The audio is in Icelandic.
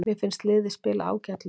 Mér finnst liðið spila ágætlega.